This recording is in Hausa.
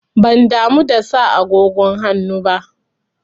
Ban damu da sa agogon hannu ba.